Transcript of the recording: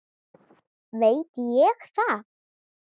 veit ég það?